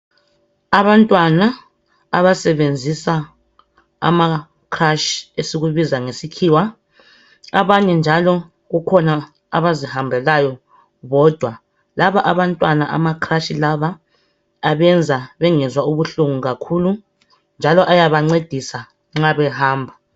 Abantwana abasebenzisa amacrush esikubiza ngesikhiwa abanye njalo kukhona abazihambelayo bodwa laba abantwana amacrush lawa abenza bengezwa ubuhlungu kakhulu njalo ayabancedisa nxa behamba.